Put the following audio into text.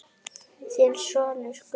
Þinn sonur, Gunnar.